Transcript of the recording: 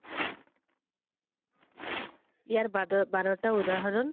ইয়াৰ বাদত বাৰটা উদাহৰণ